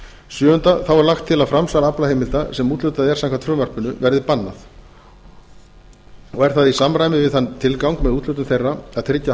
sjöunda þá er lagt til að framsal aflaheimilda sem úthlutað er samkvæmt frumvarpinu verði bannað og er það í samræmi við þann tilgang með úthlutun þeirra að tryggja